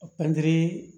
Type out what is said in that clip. Pɛntiri